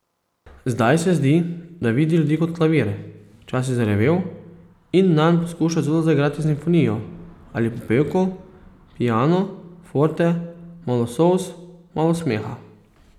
Zdaj se zdi, da vidi ljudi kot klavir, včasih zarjavel, in nanj poskuša celo zaigrati simfonijo ali popevko, piano, forte, malo solz, malo smeha.